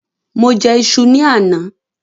Mo jẹ iṣu ni àná.